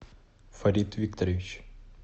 фарид викторович